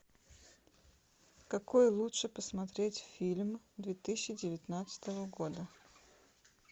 какой лучше посмотреть фильм две тысячи девятнадцатого года